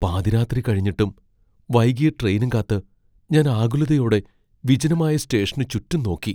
പാതിരാത്രി കഴിഞ്ഞിട്ടും വൈകിയ ട്രെയിനും കാത്ത് ഞാൻ ആകുലതയോടെ വിജനമായ സ്റ്റേഷന് ചുറ്റും നോക്കി.